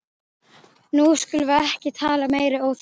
Nú skulum við ekki tala meiri óþarfa!